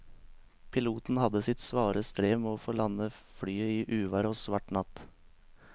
Piloten hadde sitt svare strev med å få landet flyet i uvær og svart natt.